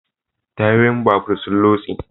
Tayoyin babur sun lotse